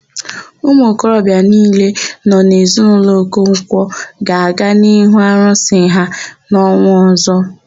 Umuokorobịa niile nọ n'ezinaụlọ Okonkwọ ga-aga n'ihu arụsị ha n'ọnwa ọ̀zọ́.